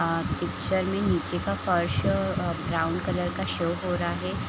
अअ picture में नीचे का पर्स अ ब्राउन कलर का शो हो रहा है।